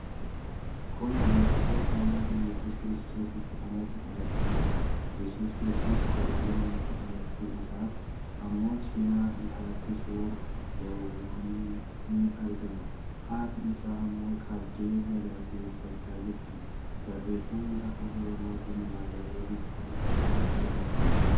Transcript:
Kun yeroo gooftaan keenya Yesuus Kirstoos itti dhalate agarsiisudha. Yesuus kiristoos goda loonitti dhalachuu isaaf ammoo cinaa isaatti suurr loowwanii ni argama. Haati isaa ammoo qabdee galateeffachaa jirti. Barreefamni Afaan Oromootiin barraa'e gubbaa isaatti argama.